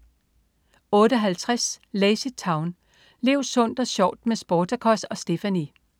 08.50 LazyTown. Lev sundt og sjovt med Sportacus og Stephanie!